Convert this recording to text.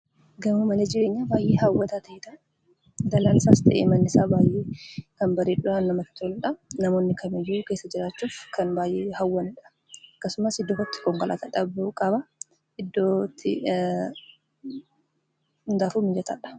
Gaamoo mana jireenyaa baay'ee haawwataa ta'edha. Dallaan isaas ta'e, manni isaa baay'ee kan bareedduudha. Namooni kam iyyuu keessa jiraachuuf kan baay'ee hawwanidha. Akkasumaas iddoo itti Konkollataa dhabuu qaba. hundafuu mijataadha.